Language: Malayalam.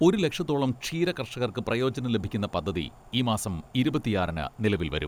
ഒരു ലക്ഷത്തോളം ക്ഷീരകർഷകർക്ക് പ്രയോജനം ലഭിക്കുന്ന പദ്ധതി ഈ മാസം ഇരുപത്തിയാറിന് നിലവിൽ വരും.